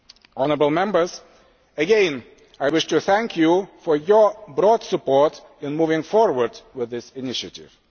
Honourable Members, again I wish to thank you for your broad support in moving forward with this initiative.